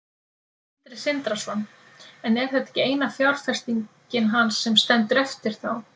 Sindri Sindrason: En er þetta ekki eina fjárfestingin hans sem stendur eftir þá?